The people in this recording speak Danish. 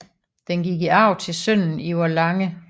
Den gik i arv til sønnen Ivar Lange